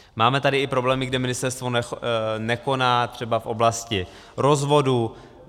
Máme tady i problémy, kde ministerstvo nekoná, třeba v oblasti rozvodů.